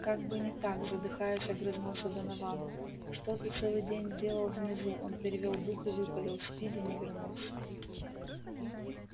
как бы не так задыхаясь огрызнулся донован что ты целый день делал внизу он перевёл дух и выпалил спиди не вернулся